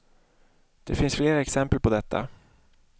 Det finns flera exempel på detta.